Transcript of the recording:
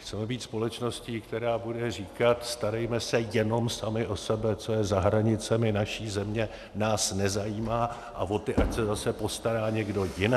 Chceme být společností, která bude říkat: starejme se jenom sami o sobe, co je za hranicemi naší země, nás nezajímá, a o ty ať se zase postará někdo jiný?